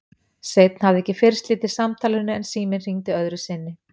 Sveinn hafði ekki fyrr slitið samtalinu en síminn hringdi öðru sinni.